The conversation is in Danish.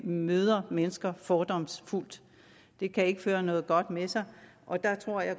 møder mennesker fordomsfuldt det kan ikke føre noget godt med sig og der tror jeg